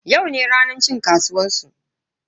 Yau ne ranar cin kasuwan su.